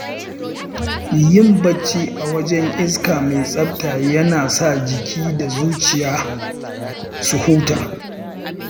Yin bacci a wajen iska mai tsafta yana sa jiki da zuciya su huta.